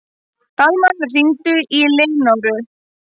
Dalmann, hringdu í Leónóru.